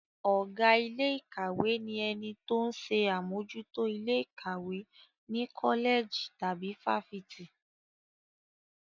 Ọ̀gá ilé ìkàwé ni ẹni tó ń ṣe àmójútó ilé ìkàwé ní kọ́lẹ̀jì tàbí fáfitì.